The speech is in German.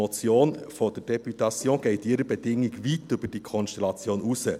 Die Motion der Députation geht in ihrer Bedingung weit über diese Konstellation hinaus.